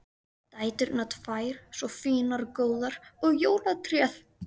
Dæturnar tvær svo fínar og góðar og jólatréð!